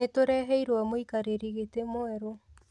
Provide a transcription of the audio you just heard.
Nĩtũreheirwo mũikarĩri gĩtĩ mwerũ